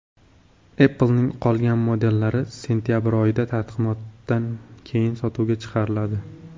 Apple’ning qolgan modellari sentabr oyida, taqdimotdan keyin sotuvga chiqariladi.